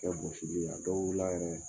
Kɛ gosili la dɔ wilila a yɛrɛ ya.